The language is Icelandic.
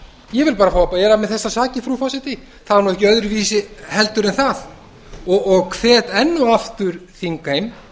ég vil bara fá að bera af mér þessar sakir frú forseti það er ekki öðruvísi heldur en það og hvet enn og aftur þingheim